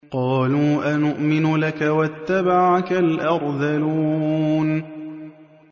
۞ قَالُوا أَنُؤْمِنُ لَكَ وَاتَّبَعَكَ الْأَرْذَلُونَ